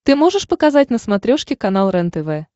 ты можешь показать на смотрешке канал рентв